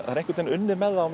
unnið með það á